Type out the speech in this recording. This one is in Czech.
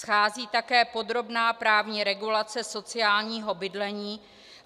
Schází také podrobná právní regulace sociálního bydlení.